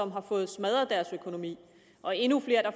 har fået smadret deres økonomi og endnu flere der